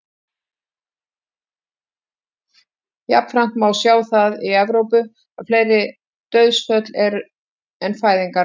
jafnframt má sjá að í evrópu eru fleiri dauðsföll en fæðingar á ári